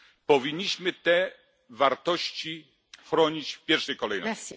Powinniśmy te wartości chronić w pierwszej kolejności.